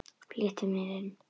Flýtti mér inn.